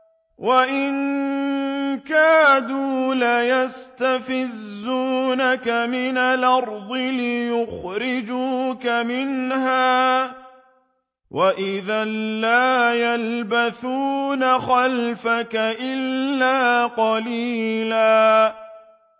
وَإِن كَادُوا لَيَسْتَفِزُّونَكَ مِنَ الْأَرْضِ لِيُخْرِجُوكَ مِنْهَا ۖ وَإِذًا لَّا يَلْبَثُونَ خِلَافَكَ إِلَّا قَلِيلًا